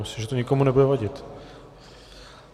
Myslím, že to nikomu nebude vadit.